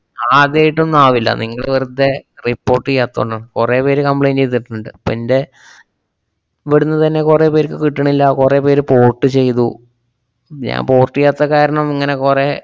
അത് ആദ്യായിട്ടൊന്നും ആവില്ല, നിങ്ങള് വെറുതേ report ചെയ്യാത്തകൊണ്ടാണ്. കൊറേ പേര് complaint ചെയ്തിട്ടുണ്ട്. പ്പ എന്‍റെ ഇവിടുന്ന് തന്നെ കൊറേപ്പേർക്ക് കിട്ടണില്ലാ, കൊറേ പേര് port ചെയ്തു, ഞാൻ port ചെയ്യാത്ത കാരണം ഇങ്ങനെ കൊറേ